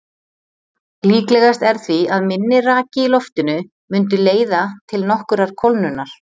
Líklegast er því að minni raki í loftinu mundi leiða til nokkurrar kólnunar.